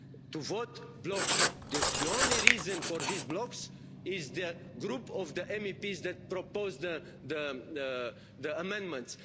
To vote blocks the only reason for these blocks is the group of MEPs that proposed the amendments.